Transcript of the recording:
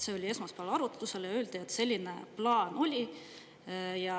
See oli esmaspäeval arutlusel ja öeldi, et selline plaan oli.